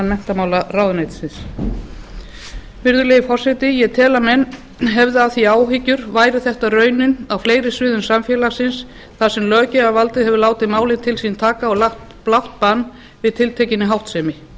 menntamálaráðuneytisins virðulegi forseti ég tel að menn hefðu af því áhyggjur væri þetta raunin á fleiri sviðum samfélagsins þar sem löggjafarvaldið hefur látið málið til sín taka og lagt blátt bann við tiltekinni háttsemi